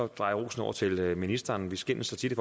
dreje rosen over til ministeren vi skændes så tit